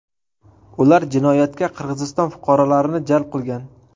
Ular jinoyatga Qirg‘iziston fuqarolarini jalb qilgan.